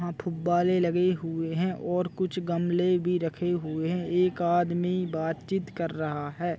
यहाँ थुब्बारे लगे हुए है और कुछ गमले भी रखे हुए एक आदमी बात चित कर रहा है।